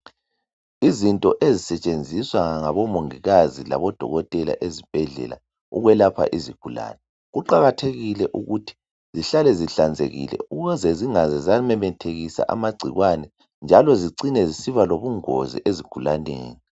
Izinto ezisetshenziswa ngabomongikazi, labo dokotela ezibhedlela ukwelapha izigulane. Kuqakathekile ukuthi zihlale zihlanzekile ukuze zingaze zamemethekisa amagcikwane, njalo zicine zisiba lobungozi ezigulaneni.